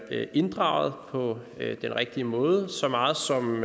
inddraget på den rigtige måde så meget som